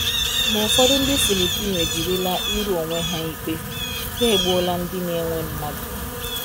Ma ụfọdụ ndị Filipino ejirila ịrụ onwe ha ikpe — ha egbuola ndị na-ewe mmadụ!